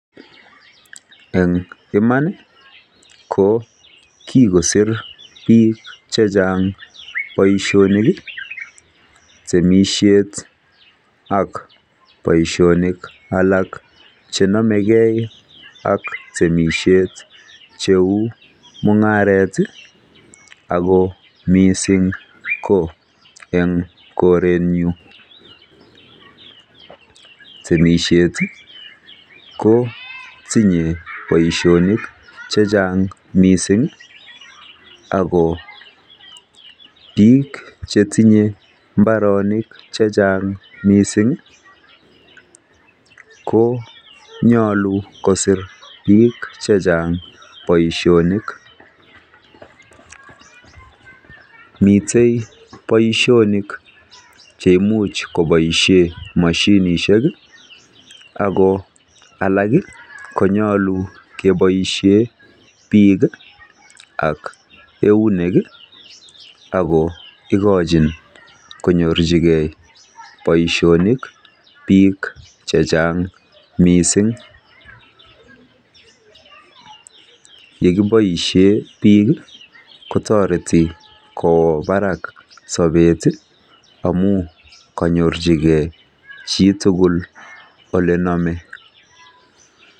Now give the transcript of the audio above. Eng iman ko kikosir biik chechang boishoni temishet ak boishonik alak chenamegei ak temishet, cheu mung'aret, ako mising ko eng korenyu. Temishet ko tinyei boishonik chechang mising ako biik che tinyeri mung'aroshek chechang mising ko nyolu kosir biik chechang boishonik. Mitei boishoni che imuch koboishe moshimishek ako alak konyolu keboishe biik ak eunek ako ikochin konyorchikei boishonik biik chechang mising. Yekiboishe biik kotoreti kowo barak sobet amu kanyorchigei chii tugul ole namei.